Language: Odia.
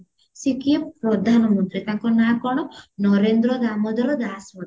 ସେ କିଏ ପ୍ରଧାନ ମନ୍ତ୍ରୀ ତାଙ୍କ ନାଁ କଣ ନରେନ୍ଦ୍ର ଦାମୋଦର ଦାସ ମୋଦୀ